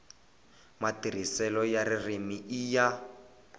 matirhiselo ya ririmi i ya